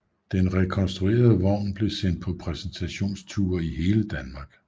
Den rekonstruerede vogn blev sendt på præsentationsture i hele Danmark